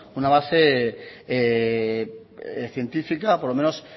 una base científica por lo menos